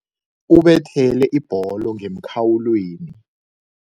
Ubethele ibholo ngemkhawulweni.